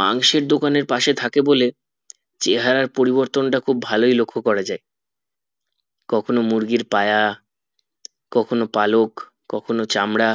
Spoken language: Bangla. মাংসের দোকান এর পাশে থাকে বলে চেহারার পরবর্তন তা খুব ভালোই লক্ষ করা যাই কখনো মুরগির পায়া কখনো পালক কখনো চামড়া